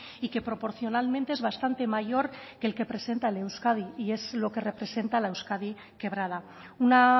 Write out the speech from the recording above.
y que proporcionalmente es bastante mayor que el que presenta el euskadi y es lo que representa la euskadi quebrada una